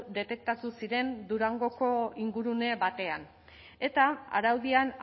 detektatu ziren durangoko ingurune batean eta araudian